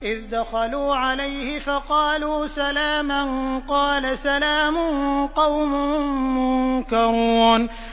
إِذْ دَخَلُوا عَلَيْهِ فَقَالُوا سَلَامًا ۖ قَالَ سَلَامٌ قَوْمٌ مُّنكَرُونَ